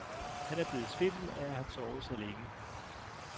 Han er blevet svimmel af at have sovet så længe.